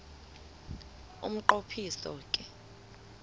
umnqo phiso ke